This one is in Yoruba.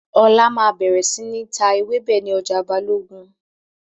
Ọlá máa bẹ̀rẹ̀ síí ta ewébẹ̀ ni ọjà Balogun